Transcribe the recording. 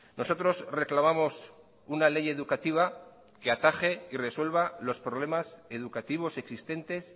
nosotros reclamamos una ley educativa que ataje y resuelva los problemas educativos existentes